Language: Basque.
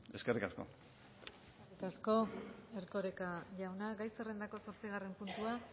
eskerrik asko eskerrik asko erkoreka jauna gai zerrendako zortzigarren puntua